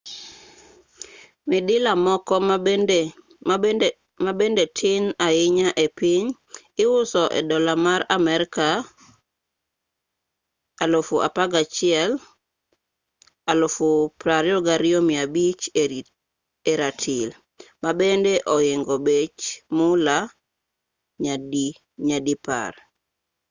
midila moko mabende tin ahinya e piny iuso e dollar mar amerka 11,000 22,500 e ratil mabende ohingo bech mula nyadipar